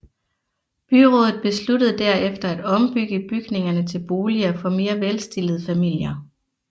Byrådet besluttede derefter at ombygge bygningerne til boliger for mere velstillede familier